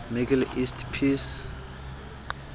middle east peace